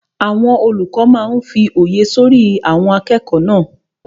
Àwọn olùkọ́ máa n fí òye sọ́rí àwọn akẹ́kọ̀ọ́ náà